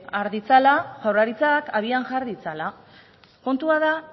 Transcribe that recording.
har ditzala jaurlaritzak abian jar ditzala kontua da